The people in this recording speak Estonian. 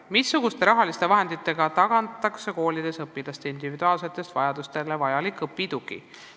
"Missuguste rahaliste vahenditega tagatakse koolides õpilaste individuaalsetele vajadustele vajalik õpitugi?